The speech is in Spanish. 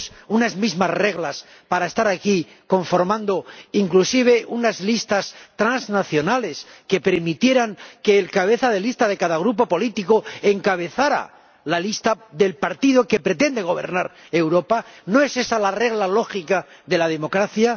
unas mismas reglas para estar aquí, conformando inclusive unas listas transnacionales que permitieran que el cabeza de lista de cada grupo político encabezara la lista del partido que pretende gobernar Europa? ¿No es esa la regla lógica de la democracia?